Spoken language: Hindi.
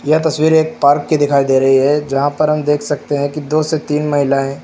यह तस्वीर एक पार्क के दिखाई दे रही है जहां पर हम देख सकते हैं कि दो से तीन महिलाएं--